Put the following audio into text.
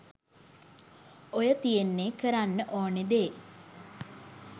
ඔය තියෙන්නේ කරන්න ඕන දේ